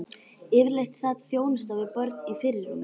Yfirleitt sat þjónusta við börn í fyrirrúmi.